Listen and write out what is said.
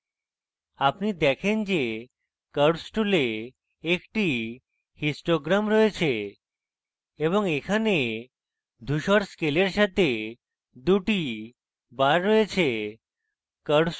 আপনি দেখেন যে curves tool একটি histogram রয়েছে এবং এখানে ধূসর scale সাথে 2 the bars রয়েছে